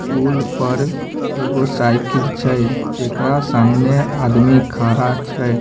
पूल पर एगो साइकिल छै जेकरा सामने आदमी खड़ा छै।